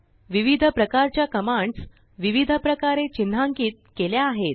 विविध प्रकारच्याकमांड्सविविध प्रकारे चिन्हांकीत केल्या आहेत